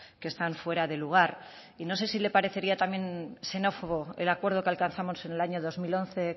que están fuera de lugar y no sé si le parecería también xenófobo el acuerdo que alcanzamos en el año dos mil once